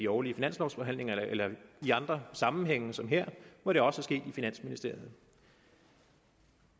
årlige finanslovforhandling eller i andre sammenhænge som her hvor det også er sket i finansministeriet